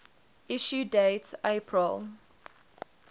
issue date april